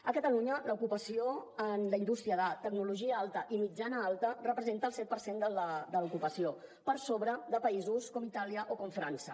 a catalunya l’ocupació en la indústria de tecnologia alta i mitjana alta representa el set per cent de l’ocupació per sobre de països com itàlia o com frança